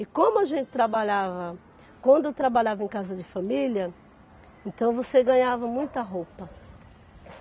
E como a gente trabalhava Quando eu trabalhava em casa de família, então você ganhava muita roupa.